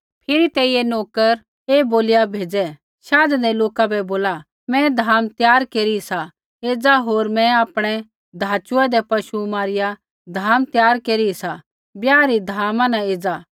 फिरी तेइयै नोकर ऐ बोलिया भेज़ै शाधेंदै लोका बै बोला मैं धाम त्यार केरी सा एज़ा होर मैं आपणै धाचुऐदै पशु मारिया धाम त्यार केरी सा ब्याह री धामा न एज़ा